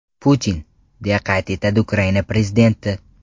Putin”, deya qayd etadi Ukraina prezidenti.